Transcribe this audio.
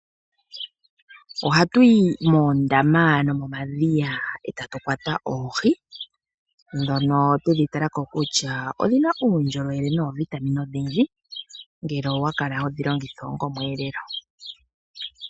Ohatu yi moondama nomomadhiya e tatu kwata oohi, ndhono twedhi tala ko kutya odhina uundjolowele noovitamine odhindji, ngele owa kala hodhi longitha onga omweelelo.